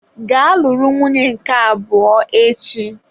Gaa luru nwunye nke abụọ echi!